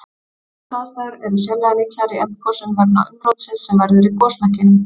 Þessar aðstæður er sérlega líklegar í eldgosum vegna umrótsins sem verður í gosmekkinum.